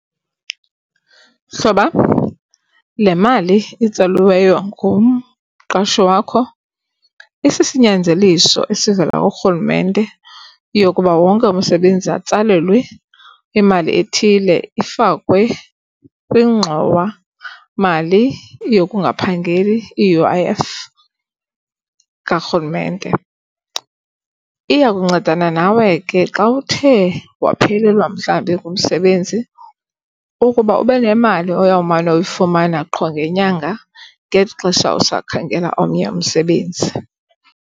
Mhlobam, le mali itsaliweyo ngumqashi wakho isisinyanzeliso esivela kuRhulumente yokuba wonke umsebenzi atsalelwe imali ethile ifakwe kwingxowamali yokungaphangeli i-U_I_F kaRhulumente. Iya kuncedana nawe ke xa uthe waphelelwa mhlawumbi ngumsebenzi ukuba ube nemali oyowumane uyifumana qho ngenyanga ngeli xesha usakhangela omnye umsebenzi.